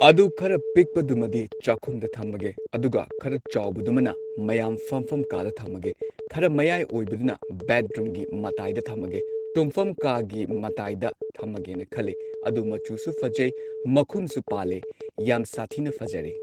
ꯑꯗꯨ ꯈꯔ ꯄꯤꯛꯄꯗꯨꯃꯗꯤ ꯆꯥꯛꯈꯨꯝꯗ ꯊꯝꯃꯒꯦ ꯑꯗꯨꯒ ꯈꯔ ꯆꯥꯎꯕꯗꯨꯃꯅ ꯃꯌꯥꯝ ꯐꯝꯐꯝ ꯀꯥꯗ ꯊꯝꯃꯒꯦ ꯈꯔ ꯃꯌꯥꯏ ꯑꯣꯏꯕꯗꯨꯅ ꯕꯦꯗꯔꯨꯝꯒꯤ ꯃꯇꯥꯏꯗ ꯊꯝꯃꯒꯦ ꯇꯨꯝꯐꯝ ꯀꯥꯒꯤ ꯃꯇꯥꯏꯗ ꯊꯝꯃꯒꯦꯅ ꯈꯜꯂꯦ ꯑꯗꯨ ꯃꯆꯨꯁꯨ ꯐꯖꯩ ꯃꯈꯨꯝꯁꯨ ꯄꯥꯜꯂꯦ ꯌꯥꯝ ꯁꯥꯊꯤꯅ ꯐꯖꯔꯦ